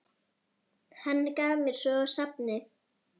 Hann gaf mér svo safnið.